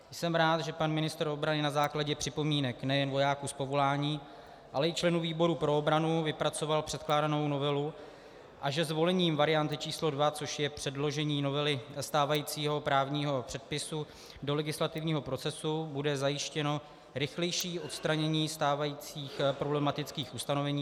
Jsem rád, že pan ministr obrany na základě připomínek nejen vojáků z povolání, ale i členů výboru pro obranu vypracoval předkládanou novelu a že zvolením varianty č. 2, což je předložení novely stávajícího právního předpisu do legislativního procesu, bude zajištěno rychlejší odstranění stávajících problematických ustanovení.